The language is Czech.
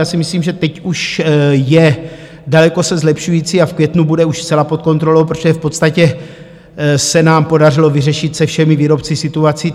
Já si myslím, že teď už je daleko se zlepšující a v květnu bude už zcela pod kontrolou, protože v podstatě se nám podařilo vyřešit se všemi výrobci situací.